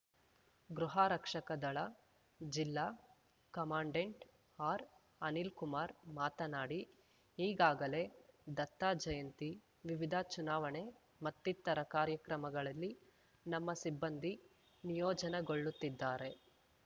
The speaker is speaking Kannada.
ಗೃಹರಕ್ಷಕ ದಳ ಜಿಲ್ಲಾ ಕಮಾಂಡೆಂಟ್‌ ಆರ್‌ಅನಿಲ್‌ಕುಮಾರ್‌ ಮಾತನಾಡಿ ಈಗಾಗಲೇ ದತ್ತ ಜಯಂತಿ ವಿವಿಧ ಚುನಾವಣೆ ಮತ್ತಿತರ ಕಾರ್ಯಕ್ರಮಗಳಲ್ಲಿ ನಮ್ಮ ಸಿಬ್ಬಂದಿ ನಿಯೋಜನೆಗೊಳ್ಳುತ್ತಿದ್ದಾರೆ